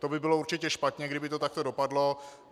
To by bylo určitě špatně, kdyby to tak dopadlo.